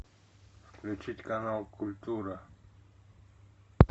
включить канал культура